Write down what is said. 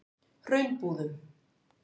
Hraunbúðum